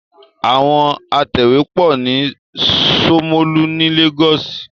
Àwọn atẹ̀wé pọ̀ ní Ṣómólú ni Lagos.